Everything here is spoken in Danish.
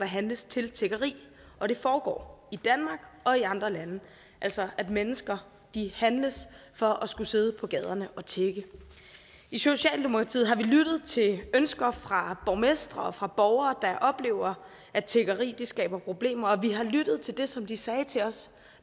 handles til tiggeri og det foregår i danmark og i andre lande altså at mennesker handles for at skulle sidde på gaderne og tigge i socialdemokratiet har vi lyttet til ønsker fra borgmestre og fra borgere der oplever at tiggeri skaber problemer og vi har lyttet til det som de sagde til os